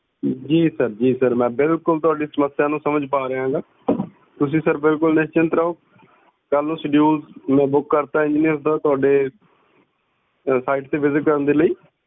ਜੀ ਸਰ ਜੀ ਸਰ ਮੈਂ ਬਿਲਕੁਲ ਸਰ ਮੈਂ ਤੁਹਾਡੀ ਸਮੱਸਿਆ ਨੂੰ ਸਮਝ ਪਾ ਰਿਹਾ ਆ ਗਾਂ ਤੁਸੀਂ ਸਰ ਬਿਲਕੁਲ ਨਿਸਚਿੰਤ ਰਹੋ ਕਲ ਨੂੰ schedule ਮੈਂ ਬੁੱਕ ਕਰਤਾ ਆ engineer ਦਾ ਜੀ ਤੁਹਾਡੇ site ਤੇ visit ਕਰਨ ਲਈਂ